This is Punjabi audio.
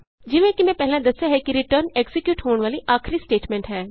ਜਿਵੇਂ ਕਿ ਮੈਂ ਪਹਿਲਾਂ ਦੱਸਿਆ ਹੈ ਕਿ ਰਿਟਰਨ ਐਕਜ਼ੀਕਿਯੂਟ ਹੋਣ ਵਾਲੀ ਆਖਰੀ ਸਟੇਟਮੈਂਟ ਹੈ